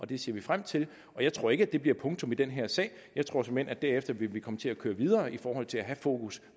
det ser vi frem til jeg tror ikke at det bliver punktum i den her sag jeg tror såmænd at vi derefter vil komme til at køre videre i forhold til at have fokus